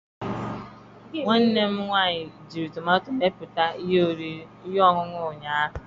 Nwanne m nwanyị jiri tomato mepụta ihe ọṅụṅụ ụnyaahụ